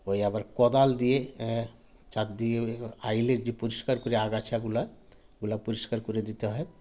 ঐ আবার কদাল দিয়ে এ চাপ দিয়ে আইলে যে পরিস্কার করে আগাছাগুলা ওগুলা পরিস্কার করে দিতে হয়